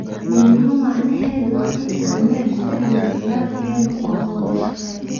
Midnimo micneheedu waa in aan meel iska dhigno khilaafkeenna oo aan wada shaqeyno.